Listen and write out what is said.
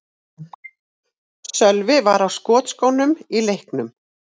Sölvi var á skotskónum í leiknum.